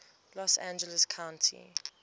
los angeles county